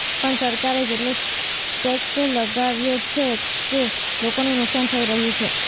પણ સરકારે જ એટલો ટેક્સ લગાવ્યો છે કે લોકોનું નુકસાન થઇ રહ્યું છે